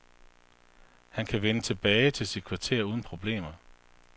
Han kan vende tilbage til sit kvarter uden problemer.